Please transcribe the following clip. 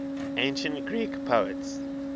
ancient greek poets